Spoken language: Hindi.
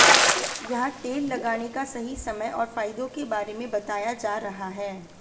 यहां तेल लगाने का सही समय और फायदों के बारे में बताया जा रहा है